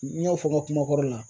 N y'a fɔ n ka kuma kɔrɔ la